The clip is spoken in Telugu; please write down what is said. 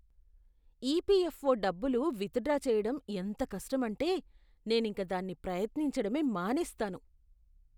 ఈపిఎఫ్ఓ డబ్బులు విత్డ్రా చేయడం ఎంత కష్టమంటే, నేనింక దాన్ని ప్రయత్నించడమే మానేస్తాను.